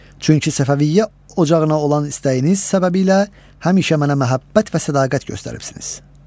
Çünki Səfəviyyə ocağına olan istəyiniz səbəbiylə həmişə mənə məhəbbət və sədaqət göstəribsiniz.